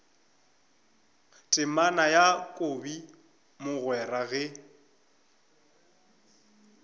temana ya kobi mogwera ge